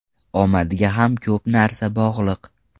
Omadga ham ko‘p narsa bog‘liq.